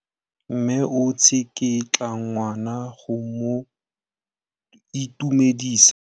Mme o tsikitla ngwana go mo itumedisa.